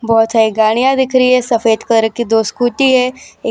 बहोत सारी गाड़ियां दिख रहीं है सफेद कलर की दो स्कूटी है एक --